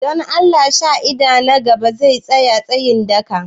Don Allah shaida na gaba zai tsaya tsayin daka?